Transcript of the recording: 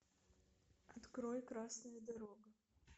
открой красная дорога